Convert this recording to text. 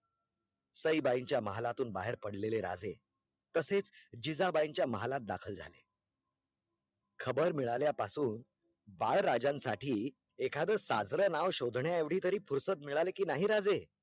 सईबाईच्या महालातून बाहेर पडलेले राजे तसेच जिजाबाईच्या महालात दखल झाले खबर मिळल्या पासून बाळराजांसाठी एखादं साजरं नाव शोधण्याएवढी तरी फुरसत मिळाली की नाही राजे?